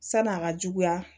San'an ka juguya